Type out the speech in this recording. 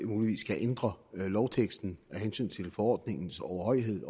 ændre lovteksten af hensyn til forordningens overhøjhed